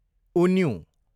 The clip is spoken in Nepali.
उन्युँ